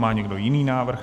Má někdo jiný návrh?